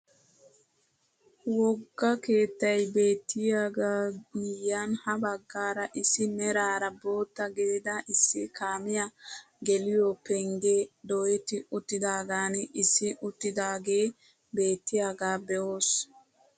Wogga keettay beettiyaaga miyiyaan ha baggaara issi meraara bootta gidida issi kaamiyaa geliyoo penggee doyetti uttidagan issi uttidaagee bettiyaaga be'os!